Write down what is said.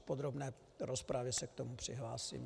V podrobné rozpravě se k tomu přihlásím.